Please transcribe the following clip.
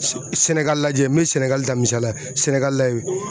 Sɛ Sɛnɛgali lajɛ n mɛ Sɛnɛgali ta misaliya la Sɛnɛgali layɛ.